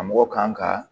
Karamɔgɔ kan ka